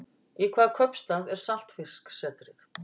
Í hvaða kaupstað er Saltfisksetrið?